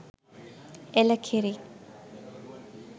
එළ කිරි